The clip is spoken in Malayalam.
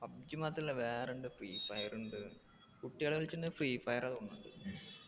എം pubg മാത്രല്ല വേറിണ്ട് free fire ണ്ട് കുട്ടികള് കളിച്ച്ന്ന free fire ആ തോന്നു